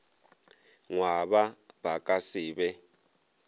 ngwaba ba ka se be